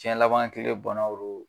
Jɛn laban kile banaw de don